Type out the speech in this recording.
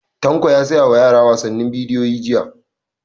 Tanko ya saya wa yara wasannin bidiyo jiya